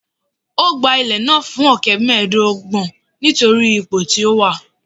Ó gba ilẹ̀ náà fún ọ̀kẹ́ mẹ́ẹ̀ẹ́dọ́gbọ̀n nítorí ipò tí ó wà